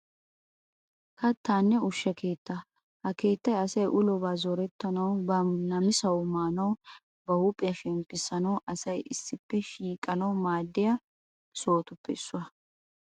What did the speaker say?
Kattanne ushsha keettaa. Ha keettay asay ulobaa zorettanawu, ba namisawu maanawunne ba huuphiya shemppissanawu asay issippe shiiqanawu maaddiya sohotuppe issuwa.